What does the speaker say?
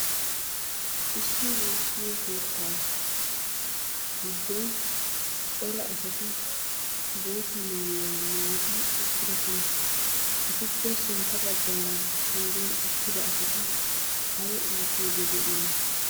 Issi woossiyo keettaa giddon cora asati bootta mayuwa mayidi eqqidosona. Etuppe sintta baggaara pengen uttida asati ayi oottiiddi de'iyona?